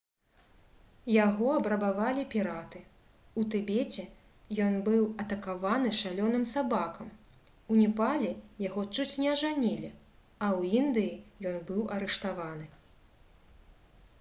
яго абрабавалі піраты у тыбеце ён быў атакаваны шалёным сабакам у непале яго чуць не ажанілі а ў індыі ён быў арыштаваны